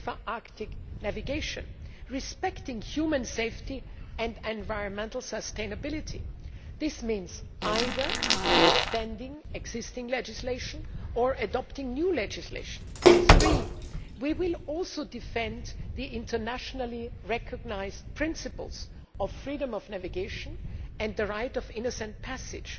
Arctic navigation, respecting human safety and environmental sustainability. This means either extending existing legislation or adopting new legislation. Thirdly, we will also defend the internationally recognised principles of freedom of navigation and the right of innocent passage.